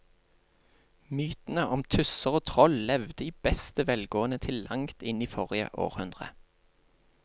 Mytene om tusser og troll levde i beste velgående til langt inn i forrige århundre.